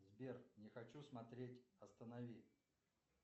сбер не хочу смотреть останови